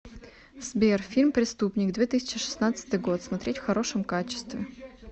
сбер фильм преступник две тысячи шестнадцатый год смотреть в хорошем качестве